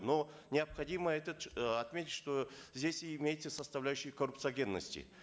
но необходимо этот э отметить что здесь имеется составляющая коррупциогенности